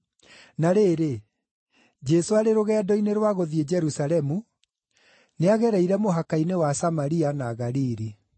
Na rĩrĩ, Jesũ arĩ rũgendo-inĩ rwa gũthiĩ Jerusalemu nĩagereire mũhaka-inĩ wa Samaria na Galili.